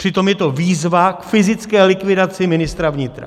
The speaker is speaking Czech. Přitom je to výzva k fyzické likvidaci ministra vnitra.